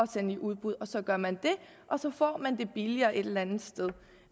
sende i udbud og så gør man det og så får man det billigere et eller andet sted